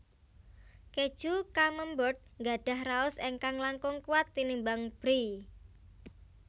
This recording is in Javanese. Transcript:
Kèju Camembert gadhah raos ingkang langkung kuwat tinimbang Brie